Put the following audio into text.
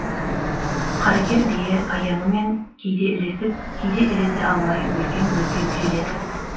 қаракер бие аяңымен кейде ілесіп кейде ілесе алмай бүлкең бүлкең желеді